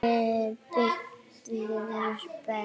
Við biðum spennt.